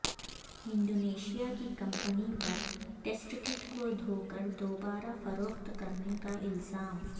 Indonesia کی company پر test kit کو دھو کر دوبارہ فروخت کرنے کا الزام